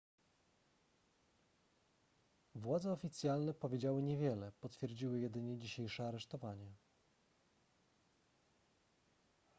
władze oficjalne powiedziały niewiele potwierdziły jedynie dzisiejsze aresztowanie